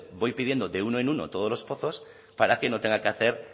voy pidiendo de uno en uno todos los pozos para que no tenga que hacer